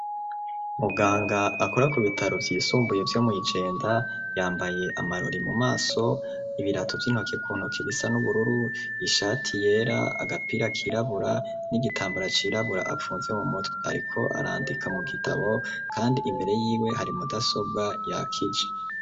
Muganga akora ku bitaro by'isumbuye vyo mw'ijenda yambaye amarori mu maso ibirato by'intoke kuntuk ibisa n'ubururu ishati yera agapira kirabura n'igitambara cirabura apfunze mu mutwe ariko arandika mu gitabo kandi imbere yiwe hari mudasobwa ya kije.